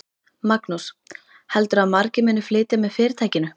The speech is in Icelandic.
Magnús: Heldurðu að margir muni flytja með fyrirtækinu?